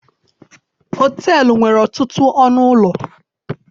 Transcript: Họteelụ nwere ọtụtụ ọnụ ụlọ.